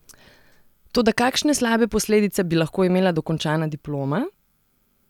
Toda kakšne slabe posledice bi lahko imela dokončana diploma?